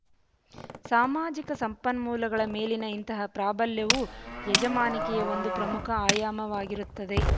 ಸಾಮಾಜಿಕ ಸಂಪನ್ಮೂಲಗಳ ಮೇಲಿನ ಇಂತಹ ಪ್ರಾಬಲ್ಯವು ಯಜಮಾನಿಕೆಯ ಒಂದು ಪ್ರಮುಖ ಆಯಾಮವಾಗಿರುತ್ತದೆ